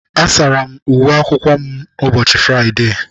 A sara m uwe akwụkwọ m ụbọchị fụụride.